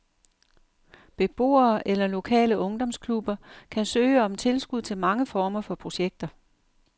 Beboere eller lokale ungdomsklubber kan søge om tilskud til mange former for projekter.